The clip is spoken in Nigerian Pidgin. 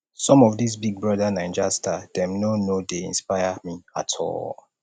some of dis big brother naija star dem no no dey inspire me at all